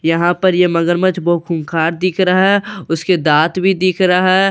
यहाँ पर ये मगरमच्छ बोहोत खूंखार दिख रहा है उसके दांत भी दिख रहा है उस--